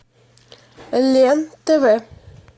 лен тв